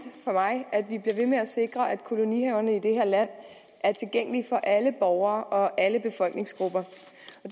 for mig at vi bliver ved med at sikre at kolonihaverne i det her land er tilgængelige for alle borgere og alle befolkningsgrupper